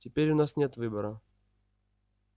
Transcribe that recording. теперь у нас нет выбора